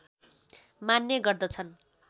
मान्ने गर्दछन्